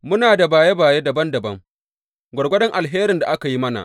Muna da baye baye dabam dabam, gwargwadon alherin da aka yi mana.